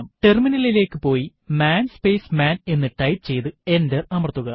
ടെർമിനലിലേക്ക് പോയി man space man എന്ന് ടൈപ്പ് ചെയ്യ്തു എന്റർ അമർത്തുക